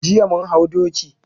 Jiya mun hau doki.